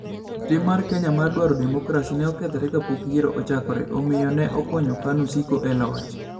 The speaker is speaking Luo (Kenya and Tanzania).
Tim mar Kenya mar dwaro demokrasi ne okethore kapok yiero ochakore, omiyo ne okonyo KANU siko e loch.